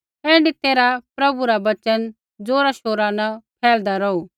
ऐण्ढै तैरहै प्रभु रा वचन ज़ोरा शोरा न फैलदा रौहू